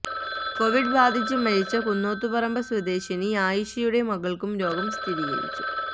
Covid ബാധിച്ച് മരിച്ച കുന്നോത്തുപറമ്പ് സ്വദേശിനി ആയിഷയുടെ മകള്ക്കും രോഗം സ്ഥിരീകരിച്ചു